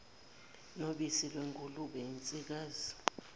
nobisi lwengulube yensikazi